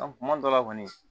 kuma dɔ la kɔni